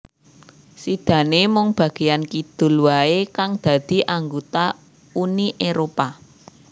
Sidané mung bagéyan kidul waé kang dadi anggota Uni Éropah